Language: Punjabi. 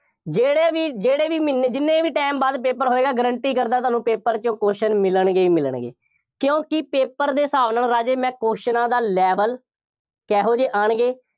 ਜਿਹੜੇ ਵੀ, ਜਿਹੜੇ ਵੀ ਮਹੀਨੇ, ਜਿੰਨੇ ਵੀ time ਬਾਅਦ paper ਹੋਏਗਾ, guarantee ਕਰਦਾ ਤੁਹਾਨੂੰ paper ਚੋਂ question ਮਿਲਣਗੇ ਹੀ ਮਿਲਣਗੇ, ਕਿਉਂਕਿ paper ਦੇ ਹਿਸਾਬ ਨਾਲ ਰਾਜੇ ਮੈਂ ਕਿਊਸਚਨਾਂ ਦਾ level, ਕਿਹੋ ਜਿਹੇ ਆਉਣਗੇ,